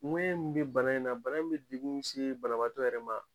min be bana in na bana in be degun min se banabaato yɛrɛ ma